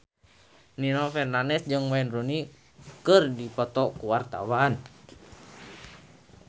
Nino Fernandez jeung Wayne Rooney keur dipoto ku wartawan